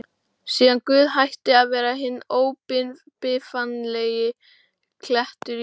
Síðan Guð hætti að vera hinn óbifanlegi klettur í lífi